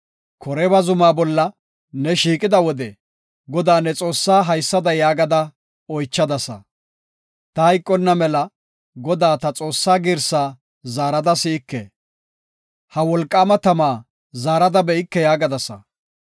Koreeba zumaa bolla ne shiiqida wode Godaa ne Xoossaa haysada yaagada oychadasa; “Ta hayqonna mela Godaa, ta Xoossaa girsaa zaarada si7ike; ha wolqaama tama zaarada be7ike” yaagadasa.